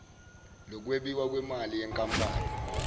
lokwabiwa kwemali yenkampani